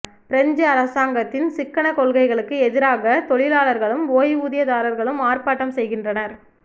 French அரசாங்கத்தின் சிக்கன கொள்கைகளுக்கு எதிராக தொழிலாளர்களும் ஓய்வூதியதாரர்களும் ஆர்ப்பாட்டம் செய்கின்றனர்